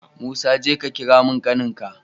Musa jeka ka kira min ƙanin ka